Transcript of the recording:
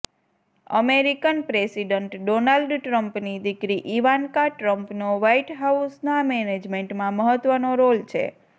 American president Donald ટ્રમ્પની દીકરી Ivanka ટ્રમ્પનો વાઇટ હાઉસના મેનેજમેન્ટમાં મહત્વનો રોલ છે